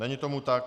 Není tomu tak.